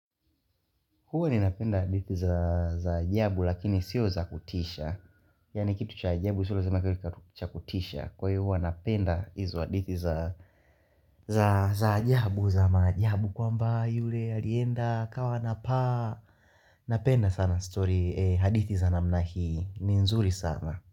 Huwa ninapenda hadithi za ajabu lakini sio za kutisha. Yaani kitu cha ajabu sio lazima kiwe cha kutisha. Kwa hivyo huwa napenda izo hadithi za ajabu, za maajabu kwamba yule alienda kawa anapaa. Napenda sana story hadithi za namna hii. Ni nzuri sana.